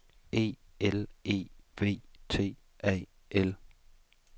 E L E V T A L